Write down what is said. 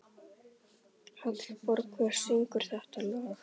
Hallborg, hver syngur þetta lag?